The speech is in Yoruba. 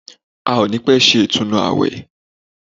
A ò ní pẹ́ ṣe ọdún ìtúnu àwẹ̀